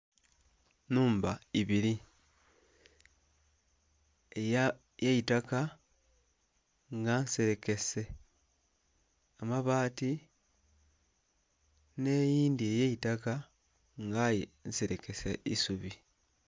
Nhumba ibiri era eya itaka nga nserekese amabaati n'eyindhi eye itaka nga aye nserekese n'eisubi.